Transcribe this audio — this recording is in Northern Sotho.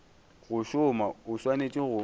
go šoma o swanetše go